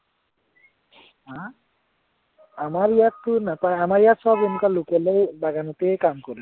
আমাৰ ইয়াতটো নাপায়, আমাৰ ইয়াত সৱ এনেকুৱা local য়েই বাগানতেই কাম কৰে